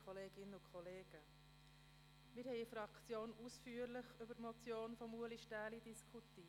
Wir haben in der Fraktion ausführlich über die Motion von Ulrich Stähli diskutiert.